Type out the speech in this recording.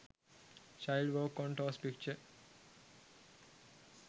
child walk on toes picture